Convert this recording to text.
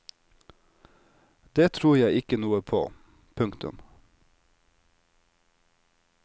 Det tror jeg ikke noe på. punktum